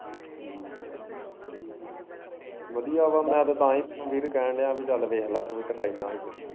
ਵਧੀਆ ਵਾ ਮੈਂ ਤੇ ਤਾਂ ਈ ਵੀਰ ਤੈਨੂੰ ਕੈਨ ਦਿਆ ਪੀ ਚੱਲ ਵੇਖਲਾ ਤੂੰ ਵੀ ਟਕਾਈ ਮਾਰ ਕੇ।